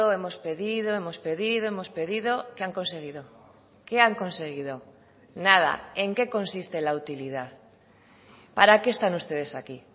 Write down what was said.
hemos pedido hemos pedido hemos pedido qué han conseguido qué han conseguido nada en qué consiste la utilidad para qué están ustedes aquí